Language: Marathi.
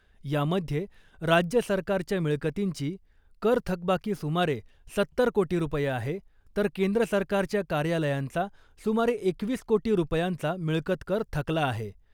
यामध्ये राज्य सरकारच्या मिळकतींची कर थकबाकी सुमारे सत्तर कोटी रुपये आहे तर केंद्र सरकारच्या कार्यालयांचा सुमारे एकवीस कोटी रुपयांचा मिळकतकर थकला आहे .